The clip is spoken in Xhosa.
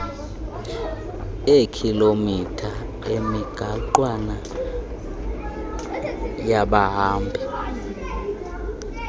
eekhilomitha emigaqwana yabahambi